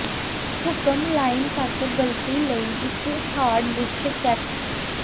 ਹੁਕਮ ਲਾਈਨ ਤੱਕ ਗਲਤੀ ਲਈ ਇੱਕ ਹਾਰਡ ਡਿਸਕ ਚੈੱਕ